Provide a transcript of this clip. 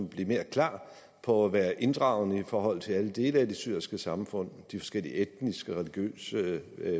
blive mere klar på at være inddragende i forhold til alle dele af det syriske samfund de forskellige etniske religiøse